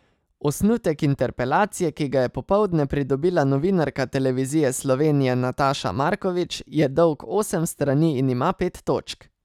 Osnutek interpelacije, ki ga je popoldne pridobila novinarka Televizije Slovenije Nataša Markovič, je dolg osem strani in ima pet točk.